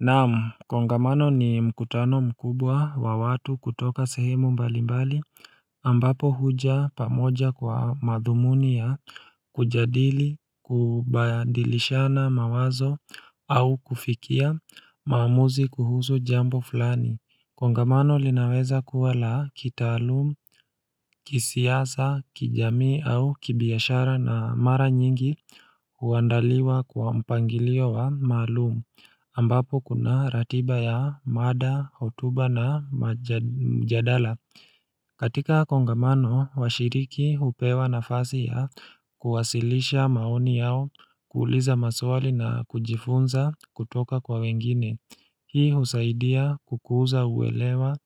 Naam kongamano ni mkutano mkubwa wa watu kutoka sehemu mbalimbali ambapo huja pamoja kwa madhumuni ya kujadili kubadilishana mawazo au kufikia maamuzi kuhusu jambo fulani Kongamano linaweza kuwa la kitaalumu kisiasa kijamii au kibiashara na mara nyingi huandaliwa kwa mpangilio wa maalumu ambapo kuna ratiba ya mada houtuba na mjadala katika kongamano washiriki hupewa nafasi ya kuwasilisha maoni yao kuuliza maswali na kujifunza kutoka kwa wengine hii husaidia kukuza uwelewa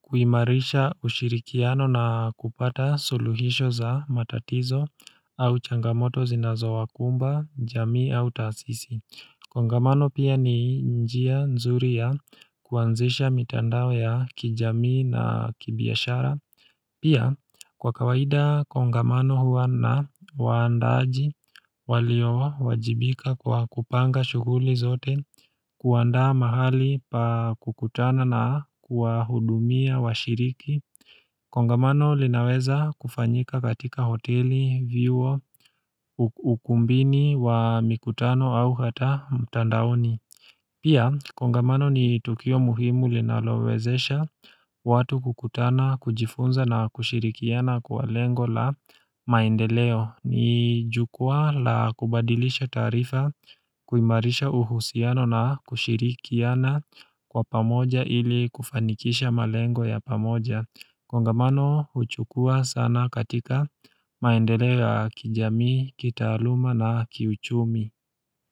kuimarisha ushirikiano na kupata suluhisho za matatizo au changamoto zinazo wa kumba jamii au tasisi Kongamano pia ni njia nzuri ya kuanzisha mitandao ya kijamii na kibiashara pia kwa kawaida kongamano huwa na waandaji walio wajibika kwa kupanga shughuli zote kuanda mahali pa kukutana na kuwa hudumia washiriki kongamano linaweza kufanyika katika hoteli vyuo ukumbini wa mikutano au hata mtandaoni pia kongamano ni tukio muhimu linalowezesha watu kukutana kujifunza na kushirikiana kwa lengo la maendeleo ni jukua la kubadilisha taarifa kuimarisha uhusiano na kushirikiana kwa pamoja ili kufanikisha malengo ya pamoja kongamano huchukua sana katika maendeleo kijamii kitaluma na kiuchumi.